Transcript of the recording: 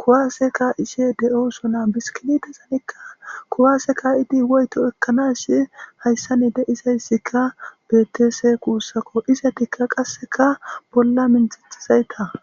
kuwasse ka'ishe de'osona. Biskiletizannikka kuwasse ka'idi woykko oykkanashe hayssanite izaysikka be'etese. Kuushako izetikka qassekka bolla minttetezayka.